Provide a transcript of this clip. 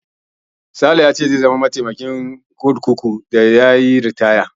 Sale ya ce zai zama mataimakin sufritandan kurkuku daf da zai yi ritaya.